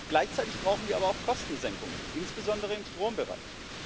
Gleichzeitig brauchen wir aber auch Kostensenkungen, insbesondere im Strombereich.